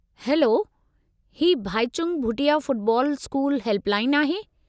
Hello, ही Bhaichung Bhutia football school help line आहे।